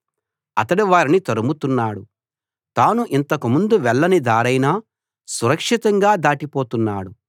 అతడు వారిని తరుముతున్నాడు తాను ఇంతకుముందు వెళ్ళని దారైనా సురక్షితంగా దాటిపోతున్నాడు